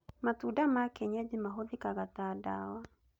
Matunda ma kĩenyeji mahũthĩkaga ta ndawa